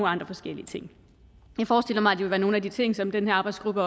andre forskellige ting jeg forestiller mig at det vil være nogle af de ting som den her arbejdsgruppe